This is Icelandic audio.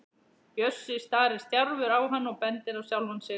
Bjössi starir stjarfur á hann og bendir á sjálfan sig.